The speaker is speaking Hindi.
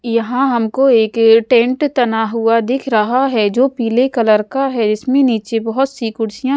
यहाँ हमको एक ये टेंट तना हुआ दिख रहा है जो पीले कलर का है इसमें नीचे बहुत सी कुर्सियाँ --